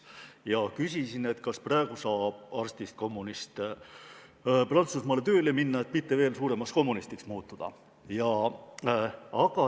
Mina küsisin, kas praegu saab kommunistist arst Prantsusmaale tööle minna, et mitte veel suuremaks kommunistiks muutuda.